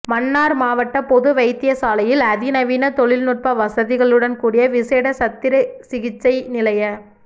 மன்னார் மாவட்ட பொது வைத்தியசாலையில் அதி நவீன தொழில்நுட்ப வசதிகளுடன் கூடிய விசேட சத்திரசிகிச்சை நிலைய